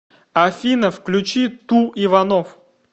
афина включи ту иванов